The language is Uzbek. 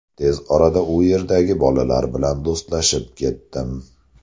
Tez orada u yerdagi bolalar bilan do‘stlashib ketdim.